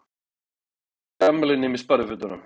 Þið farið ekki í afmæli nema í sparifötunum.